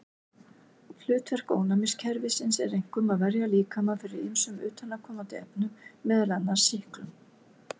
Hlutverk ónæmiskerfisins er einkum að verja líkamann fyrir ýmsum utanaðkomandi efnum, meðal annars sýklum.